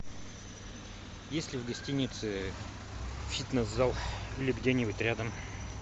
есть ли в гостинице фитнес зал или где нибудь рядом